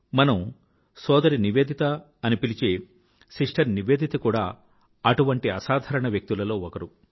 మనం సోదరి నివేదిత అని పిలిచే సిస్టర్ నివేదిత కూడా అటువంటి అసాధారణ వ్యక్తులలో ఒకరు